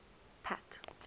pat